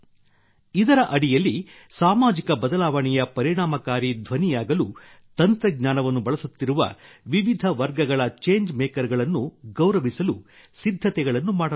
ಇದರ ಅಡಿಯಲ್ಲಿ ಸಾಮಾಜಿಕ ಬದಲಾವಣೆಯ ಪರಿಣಾಮಕಾರಿ ಧ್ವನಿಯಾಗಲು ತಂತ್ರಜ್ಞಾನವನ್ನು ಬಳಸುತ್ತಿರುವ ವಿವಿಧ ವರ್ಗಗಳ ಚೇಂಜ್ ಮೇಕರ್ ಗಳನ್ನು ಗೌರವಿಸಲು ಸಿದ್ಧತೆಗಳನ್ನು ಮಾಡಲಾಗುತ್ತಿದೆ